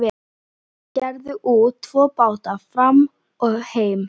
Þeir gerðu út tvo báta, Fram og Heim.